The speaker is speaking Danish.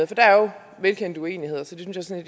der er jo velkendte uenigheder så det synes jeg